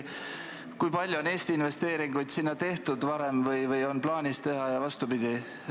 Kui palju on Eesti investeeringuid sinna varem tehtud või kui palju on plaanis teha ja vastupidi?